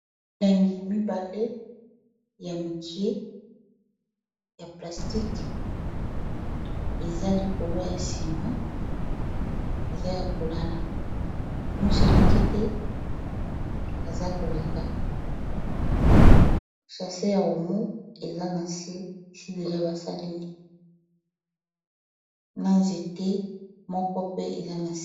Milangi mibale ya mikie ya plastique eza likolo ya nsima eza ya kolala moselekete aza koleka e koleka chase ya omo eza na se isi deja basaleli na nzete moko pe eza na...